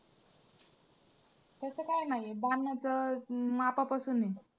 तसं काय नाही आहे बाणाचं~ मापापासून आहे.